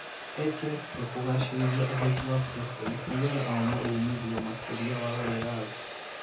Ekire kio kugacerithia uhoti wa President nigetha oone umithio makiria wa wiathi.